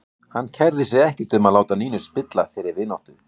Hann kærði sig ekkert um að láta Nínu spilla þeirri vináttu.